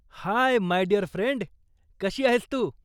High my dear friend, कशी आहेस तू?